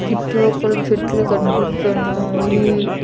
చుట్టుపక్కల చెట్లు కనిపిస్తున్నాయి.